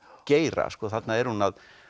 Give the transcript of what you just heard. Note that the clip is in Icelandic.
geira þarna er hún að